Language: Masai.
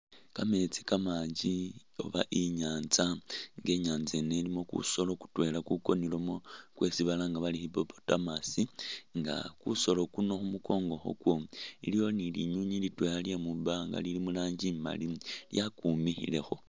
Kameetsi kamanji oba inyanza nga inyanza yiino ilimo kusoolo kutwela kukonilemo kwesi balanga bari hippopotamus nga kusoolo kuno khumunkongo kwako iliwo ni linywinywi litwela lyemumbanga Lili muranji imaali yakumikhilekho